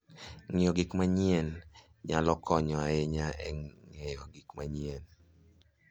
Ng'iyo gik manyien nyalo konyo ahinya e ng'eyo gik manyien.